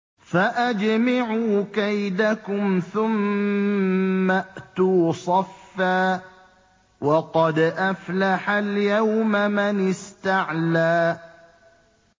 فَأَجْمِعُوا كَيْدَكُمْ ثُمَّ ائْتُوا صَفًّا ۚ وَقَدْ أَفْلَحَ الْيَوْمَ مَنِ اسْتَعْلَىٰ